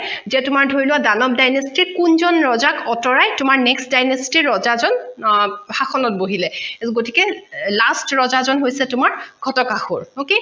যে তোমাৰ ধৰি লোৱা দানৱ dynasty কোনজন ৰজাক তোমাৰ next dynasty ৰজাজন শাসনত অ বহিলে গতিকে last ৰজাজন হৈছে তোমাৰ শতকাসূৰ okay